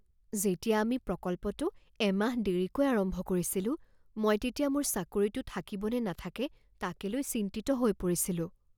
যেতিয়া আমি প্ৰকল্পটো এমাহ দেৰিকৈ আৰম্ভ কৰিছিলোঁ, মই তেতিয়া মোৰ চাকৰিটো থাকিব নে নাথাকে তাকে লৈ চিন্তিত হৈ পৰিছিলোঁ।